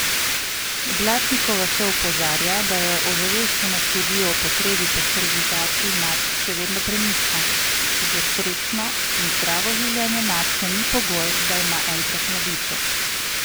Blatnikova še opozarja, da je ozaveščenost ljudi o potrebi po sterilizaciji mačk še vedno prenizka: 'Za srečno in zdravo življenje mačke ni pogoj, da ima enkrat mladiče.